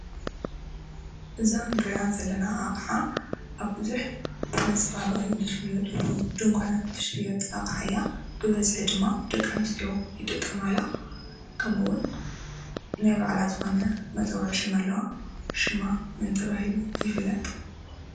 እዛ እንሪአ ዘለና ኣቅሓ ኣብ ቡዙሕ መፀባበቂ ዝሽየጥሉ ድንኳናት ትሽየጥ ኣቅሓ እያ፡፡ ብበዝሒ ድማ ደቂ ኣነስትዮ ይጥቀማላ፡፡ ከምኡ እውን ናይ ባዕላ ዝኮነ መፀዊዒ ሽም ድማ ኣለዋ፡፡ ሽማ መን ተባሂሉ ይፍለጥ?